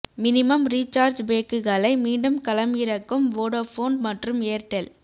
minimum recharge பேக்குகளை மீண்டும் களம் இறக்கும் வோடபோன் மற்றும் ஏர்டெல்